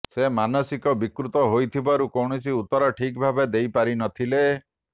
ସେ ମାନସିକ ବିକୃତ ହୋଇଥିବାରୁ କୌଣସି ଉତ୍ତର ଠିକ ଭାବେ ଦେଇପାରିନଥିଲେ